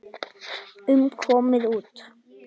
um komin út.